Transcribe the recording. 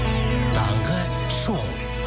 таңғы шоу